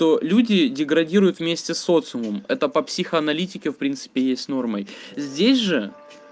то люди деградируют вместе с социумом это по психоаналитике в принципе есть нормой здесь же